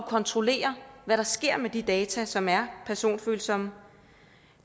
kontrollere hvad der sker med de data som er personfølsomme